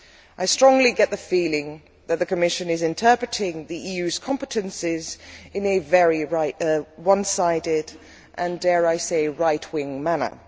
I strongly get the feeling that the Commission is interpreting the EU's competences in a very one sided and, dare I say it, right wing manner.